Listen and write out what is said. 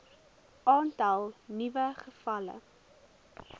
aantal nuwe gevalle